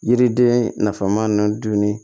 Yiriden nafa ma ninnu dun